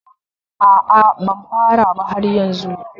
A a, ban fara ba har yanzu